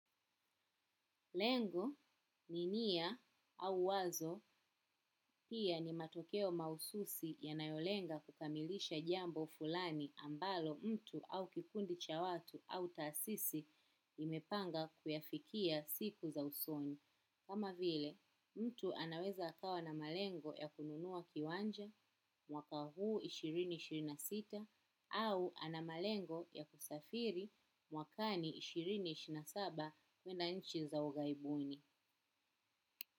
Lengo ni nia au wazo pia ni matokeo mahususi yanayolenga kukamilisha jambo fulani ambalo mtu au kikundi cha watu au taasisi imepanga kuyafikia siku za usoni. Kama vile, mtu anaweza akawa na malengo ya kununua kiwanja mwaka huu elfu mbili na ishirini na sita au ana malengo ya kusafiri mwakani elfu mbili na ishirini na saba kwenda nchi za ughaibuni.